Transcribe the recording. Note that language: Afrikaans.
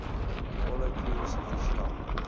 volle kliniese verslag